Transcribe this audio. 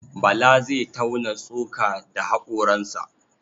Bala zai tauna tsoka da haƙoransa.